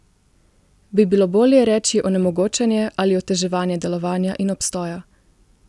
Bi bilo bolje reči onemogočanje ali oteževanje delovanja in obstoja?